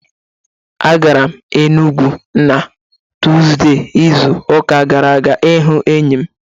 A gara m Enugwu na Tuzdee izu ụka gara aga ịhụ enyi m